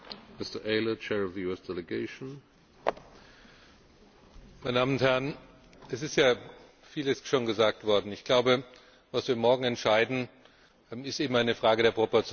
Herr Präsident, meine Damen und Herren! Es ist ja vieles schon gesagt worden. Ich glaube, was wir morgen entscheiden, ist eben eine Frage der Proportionalität.